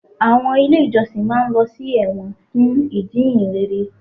Àwọn ilé ìjọsìn máa ń lọ sí ẹ̀wọ̀n fún ìjíhìnrere